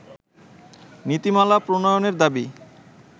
নীতিমালা প্রণয়নের দাবি